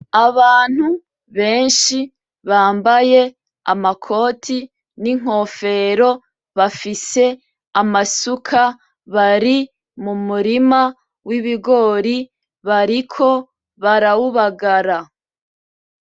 Abantu benshi bambaye amakoti n'inkofero bafise amasuka bari mu murima w'ibigori, bariko barawubagara.